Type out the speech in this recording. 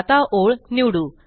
आता ओळ निवडू